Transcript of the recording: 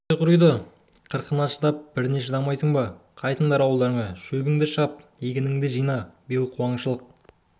тұқымың тұздай құриды қырқына шыдап біріне шыдамайсың ба қайтыңдар ауылдарыңа шөбіңді шап егініңді жина биыл қуаңшылық